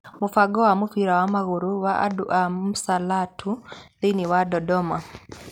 Mũbango wa mũbira wa magũrũ wa andũ ana Msalatu thĩinĩ wa Dodoma